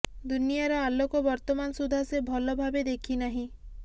ଦୁନିଆର ଆଲୋକ ବର୍ତ୍ତମାନ ସୁଦ୍ଧା ସେ ଭଲ ଭାବେ ଦେଖିନାହିଁ